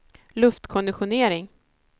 luftkonditionering